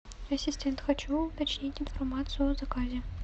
ассистент хочу уточнить информацию о заказе